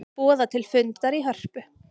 Boða til fundar í Hörpu